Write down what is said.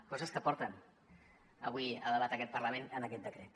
coses que porten avui a debat en aquest parlament amb aquest decret